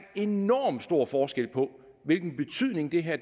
enormt stor forskel på hvilken betydning det her